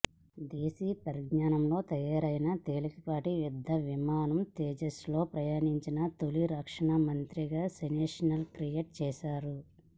దేశీ పరిజ్ఞానంతో తయారైన తేలికపాటి యుద్ధ విమానం తేజస్లో ప్రయాణించిన తొలి రక్షణమంత్రిగా సెన్సేషన్ క్రియేట్ చేశారు